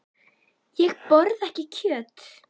Ég borða ekki kjöt.